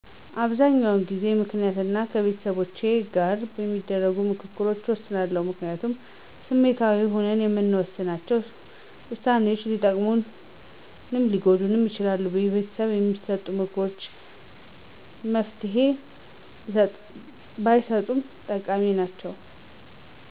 አበሰዛኛዉን ጊዜበምክንያት እና በቤተሰብበሚገኙምክሮች እወስናለሁ። ምክንያቱም ስሜታዊ ሁነን የምንወሥናቸ ውሳኔዎች ሊጠቅሙንም ሊጎዱንም ይችላሉ። በቤተሰብ የሚሠጡ ምክሮችተሎመፍትሄ ባይሠጡም ጠቃሚ ናቸዉ።